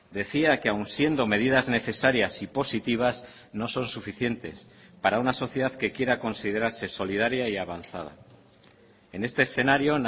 decía que aun siendo medidas necesarias y positivas no son suficientes para una sociedad que quiera considerarse solidaria y avanzada en este escenario